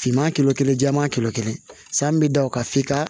Finman kelen kelen jɛman kelen san bɛ da o kan f'i ka